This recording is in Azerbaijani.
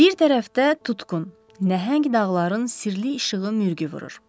Bir tərəfdə tutqun nəhəng dağların sirli işığı mürgü vurur.